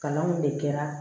Kalanw de kɛra